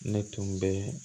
Ne tun bɛ